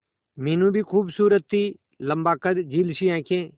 मीनू भी खूबसूरत थी लम्बा कद झील सी आंखें